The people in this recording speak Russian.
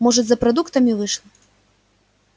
может за продуктами вышла